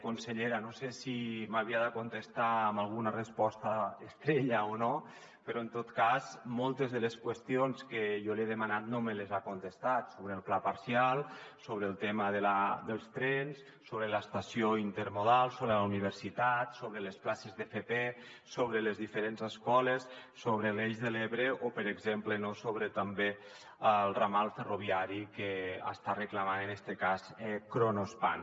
consellera no sé si m’havia de contestar amb alguna resposta estrella o no però en tot cas moltes de les qüestions que jo li he demanat no me les ha contestat sobre el pla parcial sobre el tema dels trens sobre l’estació intermodal sobre la universitat sobre les places d’fp sobre les diferents escoles sobre l’eix de l’ebre o per exemple sobre també el ramal ferroviari que està reclamant en este cas kronospan